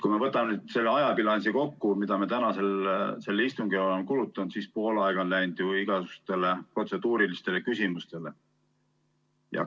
Kui me võtame selle ajabilansi kokku, mida me tänasel istungil oleme kulutanud, siis pool aega on läinud ju igasugustele protseduurilistele küsimustele.